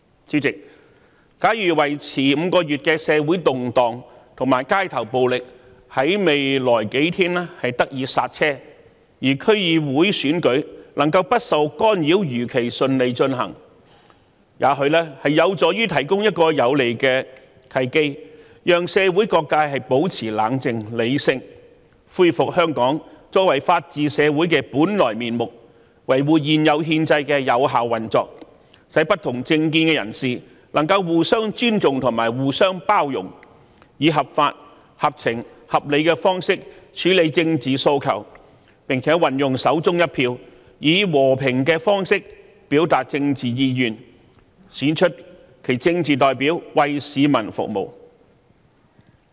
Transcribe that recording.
主席，假如持續5個月的社會動盪和街頭暴力在未來數天得以剎車，區議會選舉能夠不受干擾地如期順利舉行，這或許有助於提供一個有利的契機，讓社會各界保持冷靜和理性，恢復香港作為法治社會的本來面目，維護現有憲制的有效運作，使不同政見人士能互相尊重和互相包容，以合法、合情、合理的方式處理政治訴求，並運用手中一票，以和平的方式表達政治意願，選出其政治代表，為市民服務。